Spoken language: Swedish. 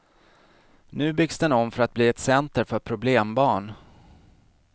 Nu byggs den om för att bli ett center för problembarn.